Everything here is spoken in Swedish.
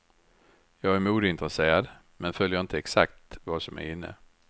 Jag är modeintresserad, men följer inte exakt vad som är inne.